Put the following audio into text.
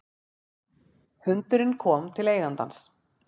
Hundurinn kominn til eigandans